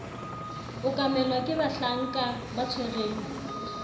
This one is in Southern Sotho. okamelwa ke bahlanka ba tshwereng